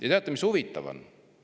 Ja teate, mis huvitav on?